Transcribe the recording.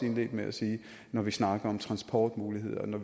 indledte med at sige når vi snakker om transportmuligheder